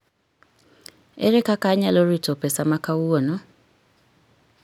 Ere kaka anyalo rito pesa ma kawuono?